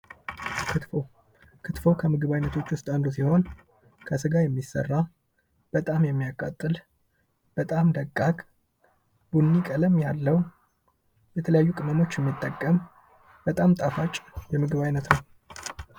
ክትፎ ከምግብ ዓይነቶች ውስጥ አንዱ ሲሆን ፤ ከስጋ የሚሰራ ፣በጣም የሚያቃጥል ፣በጣም ደቃቅ፣ ቡድኑ ቀለም ያለው፣ የተለያዩ ቀለሞችን መጠቀም በጣም ጣፋጭ የምግብ አይነት ነው።